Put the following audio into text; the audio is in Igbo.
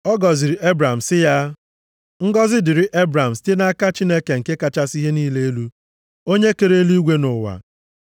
ọ gọziri Ebram sị ya, “Ngọzị dịrị Ebram site nʼaka Chineke nke kachasị ihe niile elu, Onye kere eluigwe na ụwa.